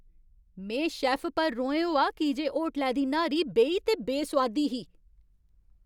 में शैफ्फ पर रोहें होआ की जे होटलै दी न्हारी बेही ते बेसोआदी ही।